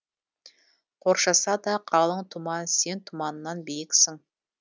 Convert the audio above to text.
қоршаса да қалың тұман сен тұманнан биіксің